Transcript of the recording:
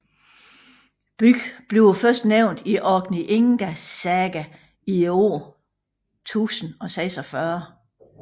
Byen bliver først nævnt i Orkneyinga Saga i året 1046